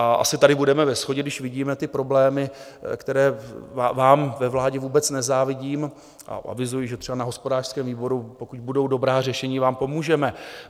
A asi tady budeme ve shodě, když vidíme ty problémy, které vám ve vládě vůbec nezávidím, a avizuji, že třeba na hospodářském výboru, pokud budou dobrá řešení, vám pomůžeme.